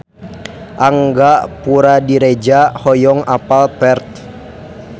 Angga Puradiredja hoyong apal Perth